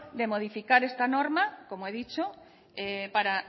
de modificar esta norma como he dicho para